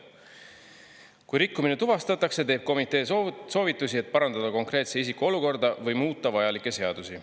Kui rikkumine tuvastatakse, teeb komitee soovitusi, et parandada konkreetse isiku olukorda või muuta vajalikke seadusi.